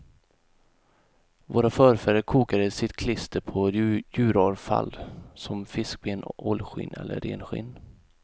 Våra förfäder kokade sitt klister på djuravfall som fiskben, ålskinn eller renskinn.